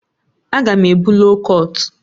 Aga m ebu loo kọt